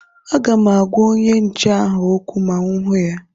Aga m agwa onye nche ahụ okwu ma mụ hụ ya